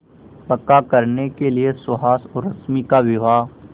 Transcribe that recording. पक्का करने के लिए सुहास और रश्मि का विवाह